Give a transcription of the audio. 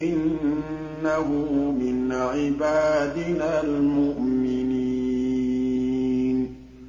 إِنَّهُ مِنْ عِبَادِنَا الْمُؤْمِنِينَ